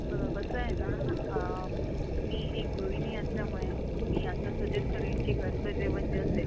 बघा कसंये ना अ मी एक गृहिणी असल्यामुळे मी असं सजेस्ट करेल कि घरच जेवण जे असेल